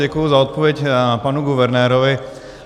Děkuji za odpověď panu guvernérovi.